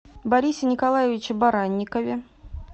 борисе николаевиче баранникове